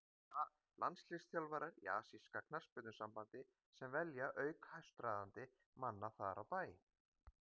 Það eru landsliðsþjálfarar í Asíska Knattspyrnusambandi sem velja auk hæstráðandi manna þar á bæ.